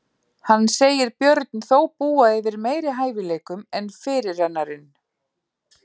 Hann segir Björn þó búa yfir meiri hæfileikum en fyrirrennarinn.